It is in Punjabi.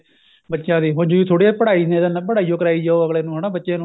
ਬੱਚਿਆਂ ਦੀ ਹੁਣ ਜਰੂਰੀ ਥੋੜੀ ਏ ਪੜ੍ਹਾਈ ਨੀ ਏ ਪੜ੍ਹਾਈ ਓ ਕਰਾਈ ਜਾਉ ਅੱਗਲੇ ਨੂੰ ਹਨਾ ਬੱਚੇ ਨੂੰ